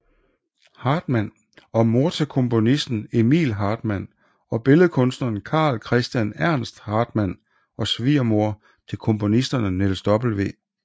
Hartmann og mor til komponisten Emil Hartmann og billedhuggeren Carl Christian Ernst Hartmann og svigermor til komponisterne Niels W